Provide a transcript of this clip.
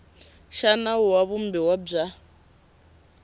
xa nawu wa vumbiwa bya